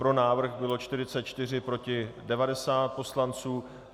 Pro návrh bylo 44, proti 90 poslanců.